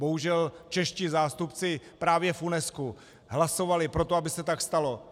Bohužel čeští zástupci právě v UNESCO hlasovali pro to, aby se tak stalo.